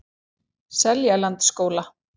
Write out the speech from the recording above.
Seljalandsskóla